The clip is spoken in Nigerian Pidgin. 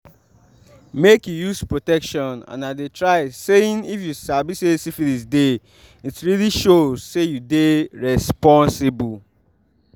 make you use protection and i dey try saying if u sabi say syphilis deyit really show say you dey responsible